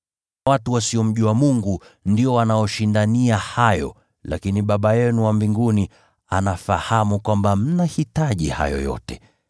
Watu wasiomjua Mungu ndio wanaoshindania hayo, lakini Baba yenu wa mbinguni anafahamu kuwa mnahitaji haya yote.